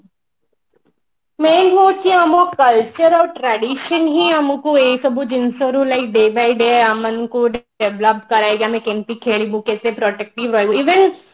ନାଇଁ ନାଇଁ ସେ ଆମ culture ଆଉ tradition ହିଁ ଆମକୁ ଏଇସବୁ ଜିନିଷରୁ like day by day ଆମମାନଙ୍କୁ ଗୋଟେ develop କରା ଯାଇଛି ଆମେ କେମିତି ଖେଳିବୁ even